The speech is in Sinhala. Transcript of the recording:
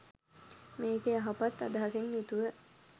මේක යහපත් අදහසින් යුතුව